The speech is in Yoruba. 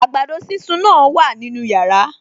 Àgbàdo sísun náà wà nínú yàrá